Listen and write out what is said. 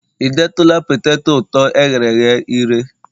ị detụla poteto ụtọ e ghere eghe ire?